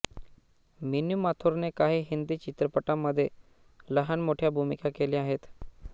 mini माथुरने काही हिंदी चित्रपटांमध्ये लहान मोठ्या भूमिका केल्या आहेत